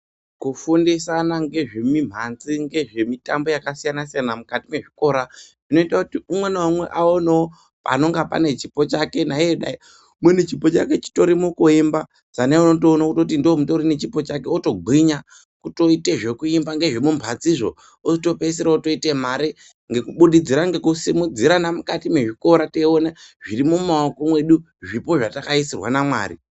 Kufindisana nezvemumanzi nekufundisana zvakasiyana siyana mukati mezvikora zvinoita kuti umwe naumwe aonewo panenge pane chipo chake umweni chipo chake chiri mukuemba umweni otoona kuti ndiko kune chipo chake otogwinya kutoita zvekuimba nezvemumanzizvo otopedzisira oita mari kubudikidza nekusimudzirana mukati mezvikora nekuona zviri mumaoko edu zvipo zvatakaisirwa naMwari.